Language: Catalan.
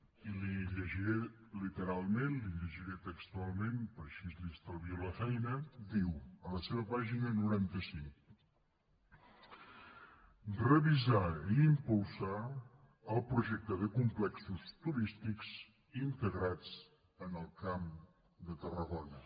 i li ho llegiré literalment li ho llegiré textualment perquè així li estalvio la feina diu a la seva pàgina noranta cinc revisar i impulsar el projecte de complexos turístics integrats en el camp de tarragona